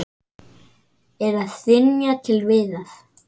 Er að hrynja til viðar.